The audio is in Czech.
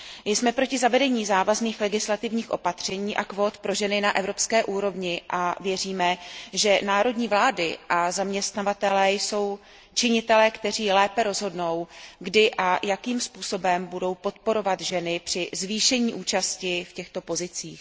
Jsme proti zavedení závazných legislativních opatření a kvót pro ženy na evropské úrovni a věříme, že národní vlády a zaměstnavatelé jsou činitelé, kteří lépe rozhodnou, kdy a jakým způsobem budou podporovat ženy při zvýšení účasti v těchto pozicích.